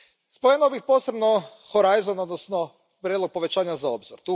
Spomenuo bih posebno Horizon odnosno prijedlog povećanja za Obzor.